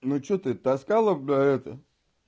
ну что ты таскала бля это